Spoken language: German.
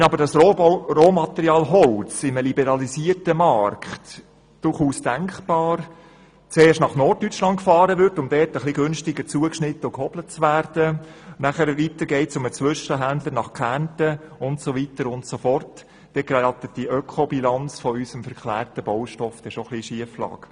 Wenn aber das Rohmaterial Holz in einem liberalisierten Markt – durchaus denkbar – zuerst nach Norddeutschland gefahren wird, um dort ein bisschen günstiger zugeschnitten und gehobelt zu werden und anschliessend bei einem Zwischenhändler in Kärnten landet, dann gerät die Ökobilanz unseres verklärten Baustoffs schon ein bisschen in Schieflage.